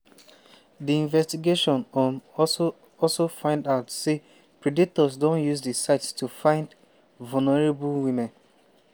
we don um connect plenti double suicides to di "partners thread".